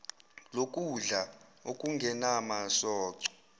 lokudla okungenam soco